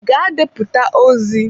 Gaa deputa ozi!